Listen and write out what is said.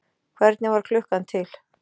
Hvernig varð klukkan til?